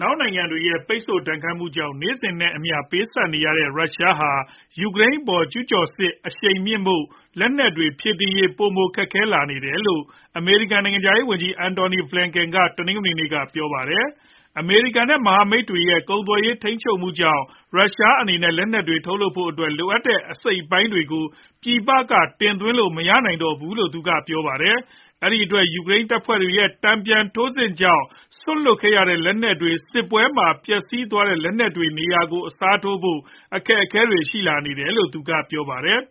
နောက်နိုင်ငံတွေရဲ့ ပိတ်ဆို့ဒဏ်ခတ်မှုကြောင့် နေ့စဉ်နဲ့အမျှ ပေးဆပ်နေရတဲ့ ရုရှားဟာ ယူကရိန်းအပေါ် ကျုးကျော်စစ် အရှိန်မြှင့်ဖို့ လက်နက်တွေ ဖြည့်တင်းရေး ပိုမိုခက်ခဲလာနေတယ်လို့ အမေရိကန် နိုင်ငံခြားရေးဝန်ကြီး Antony Blinken က တနင်္ဂနွေနေ့ က ပြောပါတယ်။ အမေရိကန် နဲ့ မဟာမိတ်တွေရဲ့ ကုန်သွယ်ရေး ထိန်းချုပ်မှုကြောင့် ရုရှားအနေနဲ့ လက်နက်တွေ ထုတ်လုပ်ဖို့အတွက် လိုအပ်တဲ့ အစိတ်အပိုင်းတွေကို ပြည်ပကနေ တင်သွင်းလို့ မရနိုင်တော့ဘူးလို့ သူကပြောပါတယ်။ အဲဒီအတွက် ယူကရိန်းတပ်ဖွဲ့တွေ ရဲ့တန်ပြန်ထိုးစစ်ကြောင့် စွန့်လွှတ်ခဲ့ရတဲ့ လက်နက်တွေ၊ စစ်ပွဲမှာ ပျက်စီးသွားတဲ့ လက်နက်တွေ နေရာကို အစားထိုးဖို့ အခက်အခဲရှိလာတယ်လို့လည်း သူက ပြောပါတယ်။